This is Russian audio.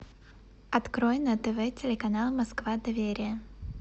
открой на тв телеканал москва доверие